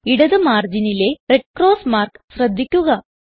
ഇടത് മാർജിനിലെ red cross mark ശ്രദ്ധിക്കുക